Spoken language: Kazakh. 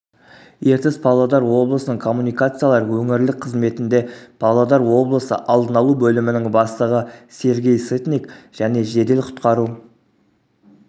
ертіс павлодар облысының коммуникациялар өңірлік қызметінде павлодар облысы алдын алу бөлімінің бастығы сергей сытник және жедел-құтқару